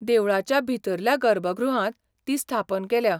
देवळाच्या भितरल्या गर्भगृहांत ती स्थापन केल्या.